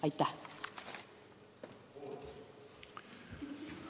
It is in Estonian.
Aitäh!